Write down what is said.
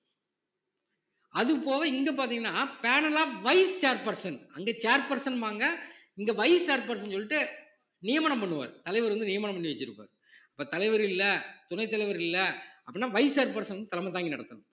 அது போக இங்க பார்த்தீங்கன்னா panel of vice chair person அங்க chair person ம்பாங்க இங்க vice chair person ன்னு சொல்லிட்டு நியமனம் பண்ணுவாரு தலைவர் வந்து நியமனம் பண்ணி வச்சிருப்பாரு அப்ப தலைவர் இல்ல துணைத் தலைவர் இல்ல அப்படீன்னா vice chair person வந்து தலைமை தாங்கி நடத்தணும்